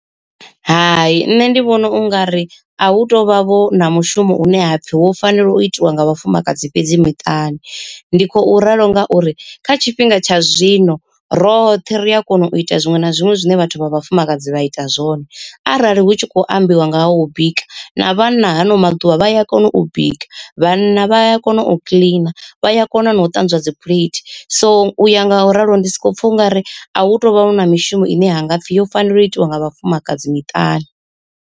Hai nṋe ndi vhona ungari a hu tovha vho na mushumo une hapfi wo fanela u itiwa nga vhafumakadzi fhedzi miṱani. Ndi khou ralo ngauri kha tshifhinga tsha zwino roṱhe ri a kona u ita zwiṅwe na zwiṅwe zwine vhathu vha vhafumakadzi vha ita zwone, arali hu tshi kho ambiwa nga ha u bika na vhanna hano maḓuvha vha ya kona u bika, vhanna vha ya kona u kiḽina vha ya kona na u ṱanzwa dzi phuleithi, so u ya nga u ralo ndi soko pfa ungari a hu tovha hu na mishumo ine ha ngapfi yo fanela u itiwa nga vhafumakadzi miṱani.